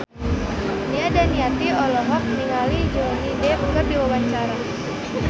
Nia Daniati olohok ningali Johnny Depp keur diwawancara